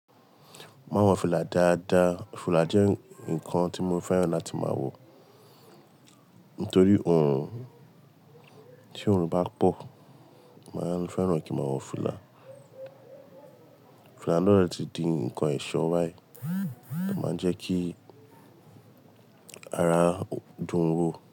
Máa wọ fìlà dáadáa. Fìlà jẹ́ nǹkan tí mo fẹ́ran láti máa wọ nítorí oòrùn, tí oòrùn bá pọ̀, màá fẹ́ran kí màá wọ fìlà. Fìlà náà lè ti di nǹkan ẹ̀ṣọ́ wáì máa jẹ́ kí ara dùn ún wò.